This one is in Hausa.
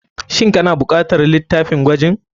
Shin kana bukatar litafin gwajin.